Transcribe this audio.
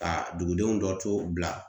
Ka dugudenw dɔ to Bila